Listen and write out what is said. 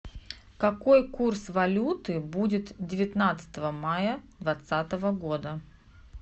какой курс валюты будет девятнадцатого мая двадцатого года